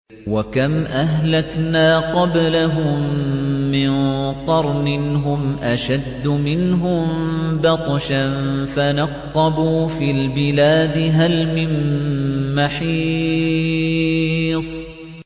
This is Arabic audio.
وَكَمْ أَهْلَكْنَا قَبْلَهُم مِّن قَرْنٍ هُمْ أَشَدُّ مِنْهُم بَطْشًا فَنَقَّبُوا فِي الْبِلَادِ هَلْ مِن مَّحِيصٍ